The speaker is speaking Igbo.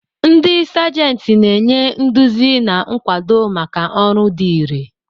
Ndị Sajenti na-enye nduzi na nkwado maka ọrụ dị irè.